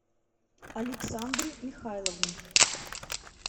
александры михайловны